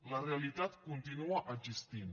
la realitat continua existint